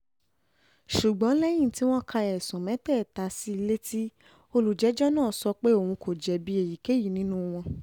ṣùgbọ́n lẹ́yìn tí wọ́n ka ẹ̀sùn mẹ́tẹ̀ẹ̀ta sí i létí olùjẹ́jọ́ náà sọ pé òun kò jẹ̀bi èyíkéyìí nínú wọn